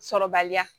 Sɔrɔbaliya